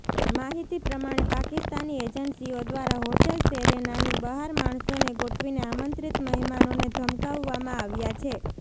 માહિતી પ્રમાણે પાકિસ્તાની એજન્સીઓ દ્વારા હોટલ સેરેનાની બહાર માણસોને ગોઠવીને આમંત્રિત મહેમાનોને ધમકાવવામાં આવ્યા છે